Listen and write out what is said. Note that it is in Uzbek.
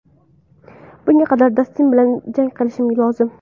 Bunga qadar Dastin bilan jang qilishim lozim.